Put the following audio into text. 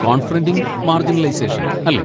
Confronting marginalisation' അല്ലെ?